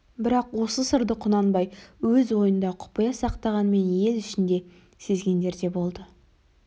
бірақ осы сырды құнанбай өз ойында құпия сақтағанмен ел ішінде сезгендер де болды